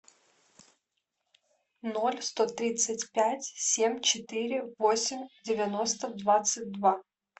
ноль сто тридцать пять семь четыре восемь девяносто двадцать два